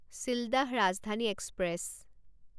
Sealdah Rajdhani express